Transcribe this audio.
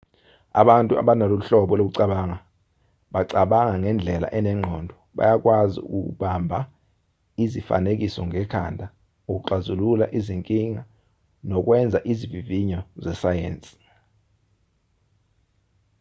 abantu abanalolu hlobo lokucabanga bacabanga ngendlela enengqondo bayakwazi ukubamba izifanekiso ngekhanda ukuxazulula izinkinga nokwenza izivivinyo zesayensi